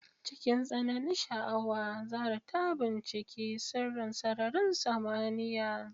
Cikin tsananin sha'awa, Zahra ta binciki sirrin sararin samaniya.